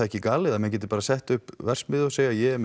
ekki galið að menn geti bara sett upp verksmiðju og segja ég er